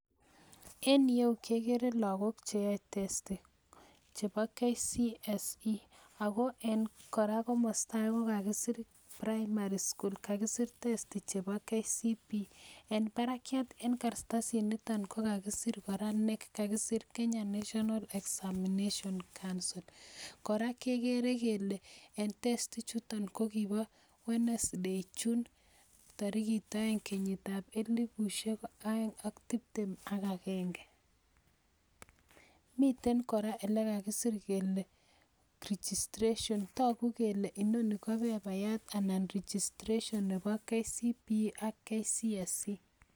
En iyeyu kegere logok cheyae testi chebo kcse ako en koraa komastage kokakisir primary school kakisir testi chebo kcpe en barakiat en kartasit niton kakisir knec Kenya National examination council koraa kekere Kole en testi ichuton ko kibo wenesday second June elibushiek aeng ak tibtem ag agenge miten koraa elekakisir kele registration togu Kole inoni ko paperyat anan ko registration Nebo kcpe AK kcse